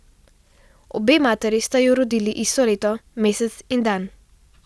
Obe materi sta ju rodili isto leto, mesec in dan.